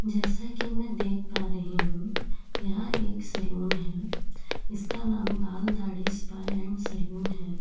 जैसा कि मैं देख पा रही हूं यह एक सलून है। जिसका नाम Baal Dadhi spa and salon है।